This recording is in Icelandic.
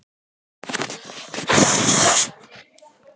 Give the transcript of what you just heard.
Kjartan, ert þú orðinn klár fyrir jólin?